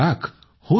90 lakh